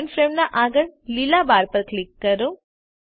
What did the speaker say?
current frame ના આગળ લીલા બાર પર ક્લિક કરો